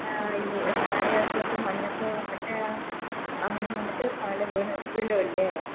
അഹ് ഹ് ഹിമാലയസ്സിലോക്കെ മഞ്ഞൊക്കെ വന്നിട്ട് അങ്ങനെ വന്നിട്ട് താലേ വീണ് വീലൂലെ